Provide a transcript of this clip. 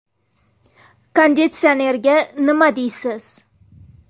Konditsionerga nima deysiz?